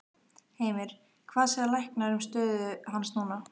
Heimir: Hvað segja læknar um stöðu hans núna?